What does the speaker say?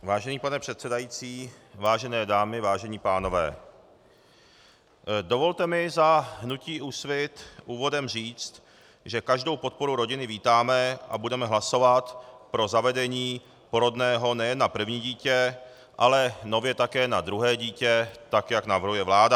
Vážený pane předsedající, vážené dámy, vážení pánové, dovolte mi za hnutí Úsvit úvodem říct, že každou podporu rodiny vítáme a budeme hlasovat pro zavedení porodného nejen na první dítě, ale nově také na druhé dítě, tak jak navrhuje vláda.